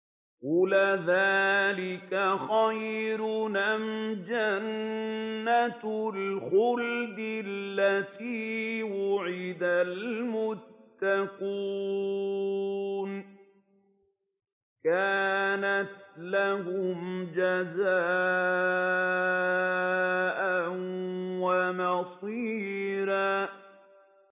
قُلْ أَذَٰلِكَ خَيْرٌ أَمْ جَنَّةُ الْخُلْدِ الَّتِي وُعِدَ الْمُتَّقُونَ ۚ كَانَتْ لَهُمْ جَزَاءً وَمَصِيرًا